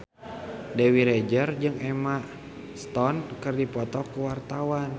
Dewi Rezer jeung Emma Stone keur dipoto ku wartawan